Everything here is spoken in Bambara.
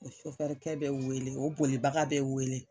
O bɛ wele o bolibaga bɛ wele.